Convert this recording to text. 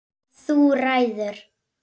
Þú ræður!